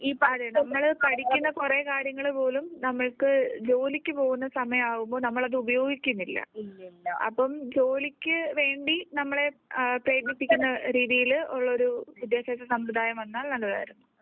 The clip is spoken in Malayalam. നമ്മൾ പഠിക്കുന്ന കുറെ കാര്യങ്ങൾ പോലും നമ്മൾ ക്ക് ജോലിക്ക് പോകുന്ന സമയം ആവുമ്പോൾ. നമ്മൾ അത് ഉപയോഗിക്കുന്നില്ല. അപ്പോൾ ജോലിക്ക് വേണ്ടി നമ്മളെ പ്രയത്നിപ്പിക്കൂന്ന രീതിയിൽ ഉള്ള ഒരു വിദ്യാഭ്യാസസമ്പ്രദായം വന്നാൽനല്ലതായിരുന്നു .